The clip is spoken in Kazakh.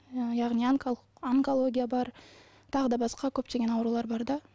яғни онкология бар тағы да басқа көптеген аурулар бар да